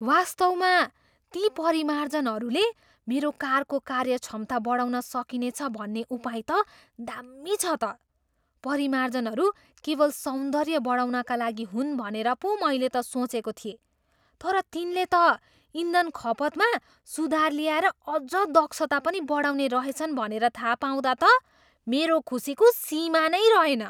वास्तवमा ती परिमार्जनहरूले मेरो कारको कार्य क्षमता बढाउन सकिनेछ भन्ने उपाय त दाम्मी छ त। परिमार्जनहरू केवल सौन्दर्य बढाउनका लागि हुन् भनेर पो मैले त सोचेको थिएँ, तर तिनले त इन्धन खपतमा सुधार ल्याएर अझ दक्षता पनि बढाउने रहेछन् भनेर थाहा पाउँदा त मेरो खुसीको सीमा नै रहेन।